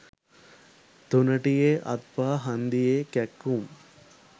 තුනටියෙ අත්පා හන්දියෙ කැක්කුම්